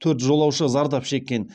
төрт жолаушы зардап шеккен